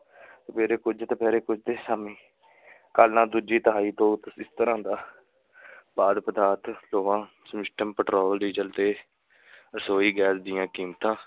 ਸਵੇਰੇ ਕੁੱਝ, ਦੁਪਹਿਰੇ ਕੁੱਝ ਤੇ ਸ਼ਾਮੀ ਕੱਲ ਨਾ ਦੂਜੀ ਤਿਹਾਈ ਤੋਂ ਜਿਸ ਤਰ੍ਹਾਂ ਦਾ ਖਾਧ-ਪਦਾਰਥਾਂ, ਲੋਹਾ ਪੈਟਰੋਲ, ਡੀਜ਼ਲ ਅਤੇ ਰਸੋਈ ਗੈਸ ਦੀਆਂ ਕੀਮਤਾਂ